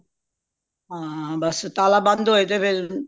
ਹਾਂ ਬੱਸ ਤਾਲਾ ਬੰਦ ਹੋਏ ਤੇ ਫੇਰ